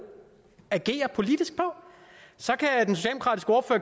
agere politisk på så